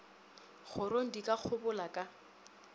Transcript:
korong di ka kgobola ka